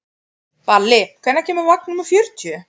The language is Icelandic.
Balli, hvenær kemur vagn númer fjörutíu?